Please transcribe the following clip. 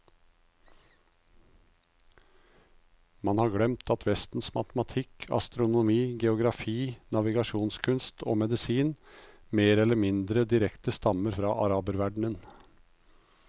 Man har glemt at vestens matematikk, astronomi, geografi, navigasjonskunst og medisin mer eller mindre direkte stammer fra araberverdenen.